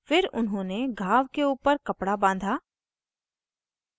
फिर उन्होंने घाव के ऊपर कपडा बाँधा